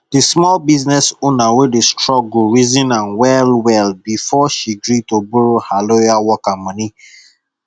the small business owner wey dey struggle reason am well well before she gree to borrow her loyal worker money